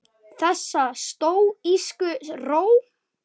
Þessa stóísku ró.